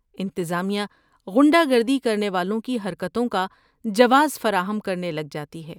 انتظامیہ غنڈہ گردی کرنے والوں کی حرکتوں کا جواز فراہم کرنے لگ جاتی ہے۔